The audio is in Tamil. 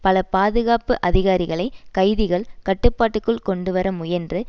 பல பாதுகாப்பு அதிகாரிகளை கைதிகள் கட்டுப்பாட்டுக்குள் கொண்டு வர முயன்று